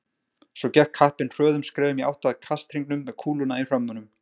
Svo gekk kappinn hröðum skrefum í átt að kasthringnum með kúluna í hrömmunum.